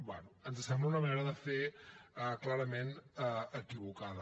bé ens sembla una manera de fer clarament equivocada